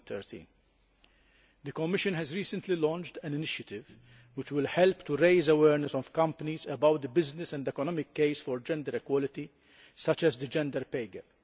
2013. The Commission has recently launched an initiative which will help to raise the awareness of companies about the business and economic case for gender equality, such as the gender pay gap.